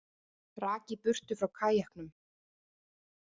Rak í burtu frá kajaknum